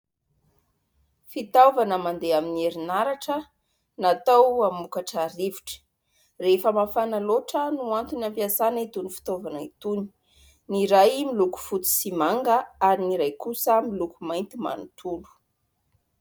Fitaovana mandeha amin'ny herinaratra natao hamokatra rivotra. Rehefa mafana loatra no antony ampiasana itony fitaovana itony. Ny iray miloko fotsy sy manga ary ny iray kosa miloko mainty manontolo.